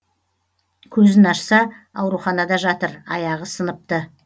көзін ашса ауруханада жатыр аяғы сыныпты